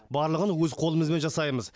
барлығын өз қолымызбен жасаймыз